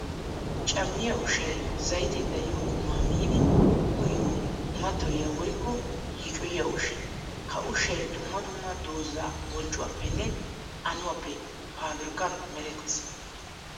Cammiya ushshay zaytee dariyo qumma miidi uyiyo mattoyiya woykko yiicoyiya ushsha. Ha ushshay dumma dumma doozaa bonccuwappenne anuwappe pabirkkan meretees.